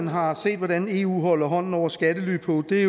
har set hvordan eu holder hånden over skattely på er i